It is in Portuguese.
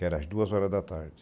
Que era às duas horas da tarde.